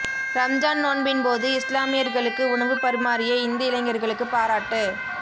ரம்ஜான் நோன்பின் போது இஸ்லாமியர்களுக்கு உணவு பரிமாறிய இந்து இளைஞர்களுக்கு பாராட்டு